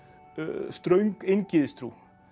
ströng eingyðistrú